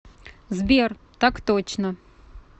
сбер так точно